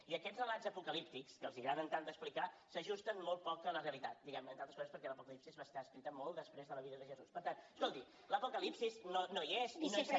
i aquests relats apocalíptics que els agraden tant d’explicar s’ajusten molt poc a la realitat diguem ne entre altres coses perquè l’apocalipsi va estar escrita molt després de la vida de jesús per tant escolti l’apocalipsi no hi és i no hi serà